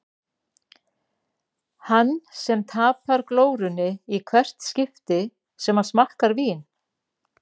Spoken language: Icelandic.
Hann sem tapar glórunni í hvert skipti sem hann smakkar vín.